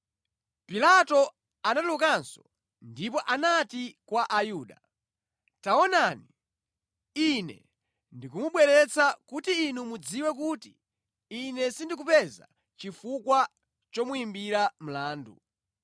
Pilato anatulukanso ndipo anati kwa Ayuda, “Taonani, ine ndikumubweretsa kuti inu mudziwe kuti ine sindikupeza chifukwa chomuyimbira mlandu.”